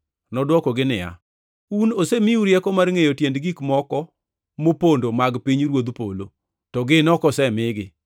Nodwokogi niya, “Un osemiu rieko mar ngʼeyo tiend gik mopondo mag pinyruodh polo, to gin ok osemigi.